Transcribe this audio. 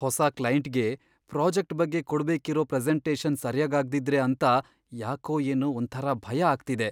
ಹೊಸ ಕ್ಲೈಂಟ್ಗೆ ಪ್ರಾಜೆಕ್ಟ್ ಬಗ್ಗೆ ಕೊಡ್ಬೇಕಿರೋ ಪ್ರೆಸೆಂಟೇಷನ್ ಸರ್ಯಾಗಾಗ್ದಿದ್ರೆ ಅಂತ ಯಾಕೋ ಏನೋ ಒಂಥರಾ ಭಯ ಆಗ್ತಿದೆ.